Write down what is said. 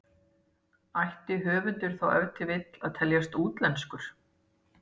Ætti höfundur þá ef til vill að teljast útlenskur?